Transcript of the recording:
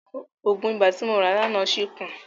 Òògùn ibà tí mo rà láàná ṣì kù.